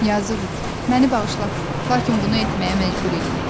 Yazıq it, məni bağışla, lakin bunu etməyə məcbur idim.